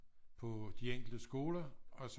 På de enkelte skoler og så